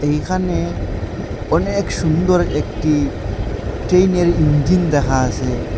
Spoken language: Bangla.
এইখানে অনেক সুন্দর একটি ট্রেইনের ইঞ্জিন দেখা আসে।